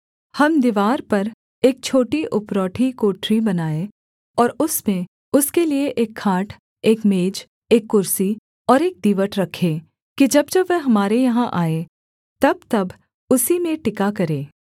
हम दीवार पर एक छोटी उपरौठी कोठरी बनाएँ और उसमें उसके लिये एक खाट एक मेज एक कुर्सी और एक दीवट रखें कि जब जब वह हमारे यहाँ आए तबतब उसी में टिका करे